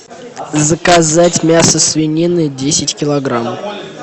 заказать мясо свинины десять килограмм